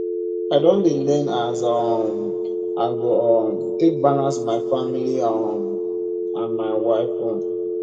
i don dey learn as um i go um take balance my family um and my wife own